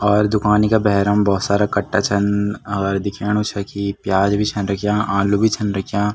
और दुकानी का भैरम भोत सारा कट्टा छन और दिखेणु छा की प्याज भी छन रख्याँ आलू भी छन रख्याँ।